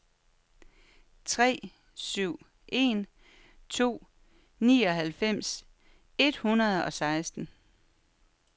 tre syv en to nioghalvfems et hundrede og seksten